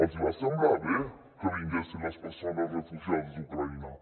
els hi va semblar bé que vinguessin les persones refugiades d’ucraïna